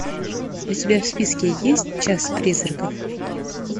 у тебя в списке есть час призраков